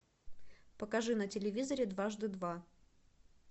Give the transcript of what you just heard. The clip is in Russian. покажи на телевизоре дважды два